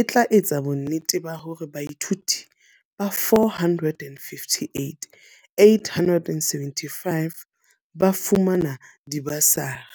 e tla etsa bonnete ba hore baithuti ba 458 875 ba fumana dibasari.